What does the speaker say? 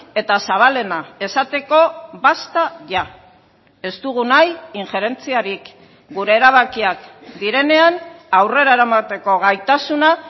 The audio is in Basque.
eta zabalena esateko basta ya ez dugu nahi injerentziarik gure erabakiak direnean aurrera eramateko gaitasuna